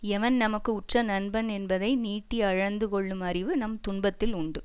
எவன் நமக்கு உற்ற நண்பன் என்பதை நீட்டி அளந்து கொள்ளும் அறிவு நம் துன்பத்தில் உண்டு